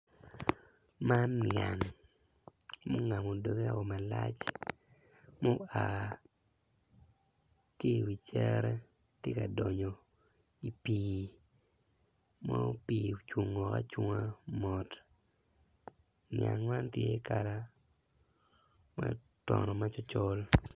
Man yang ma ongamo doge malac tye i wi cere tye ka donyo i pii ma pii ocungo acunga mot nyag man tye kala ma otono macol col.